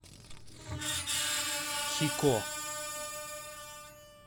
хико